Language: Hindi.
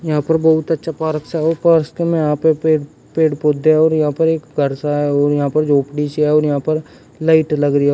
यहां पर बहुत अच्छा पार्क सा है पास के मे यहां पे पेड़ पेड़ पौधे है और यहां पर एक घर सा है और यहां पर झोपड़ी सी है और यहां पर लाइट लग रही है।